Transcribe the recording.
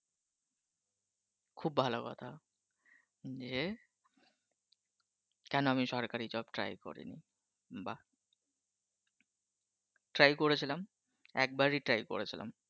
খুব ভালো কথা গিয়ে কেন আমি সরকারি job try করিনি? বাহ try করেছিলাম একবারই try করেছিলাম।